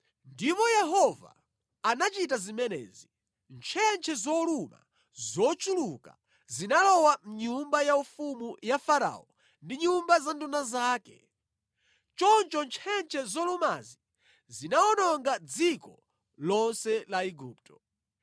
Ndipo Yehova anachita zimenezi: Ntchentche zoluma zochuluka zinalowa mʼnyumba yaufumu ya Farao ndi nyumba za nduna zake. Choncho ntchentche zolumazi zinawononga dziko lonse la Igupto.